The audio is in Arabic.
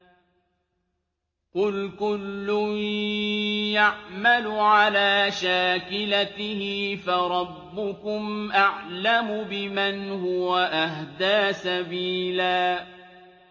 قُلْ كُلٌّ يَعْمَلُ عَلَىٰ شَاكِلَتِهِ فَرَبُّكُمْ أَعْلَمُ بِمَنْ هُوَ أَهْدَىٰ سَبِيلًا